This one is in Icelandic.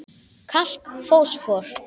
Kalk Fosfór